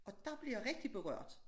Og dér bliver jeg rigtig berørt